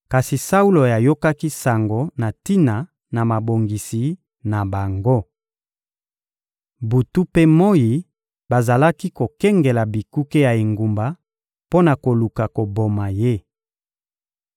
kasi Saulo ayokaki sango na tina na mabongisi na bango. Butu mpe moyi, bazalaki kokengela bikuke ya engumba mpo na koluka koboma ye.